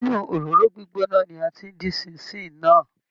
Inú òróró gbígbóná ni a ti dín Ṣín-in-ṣìn náà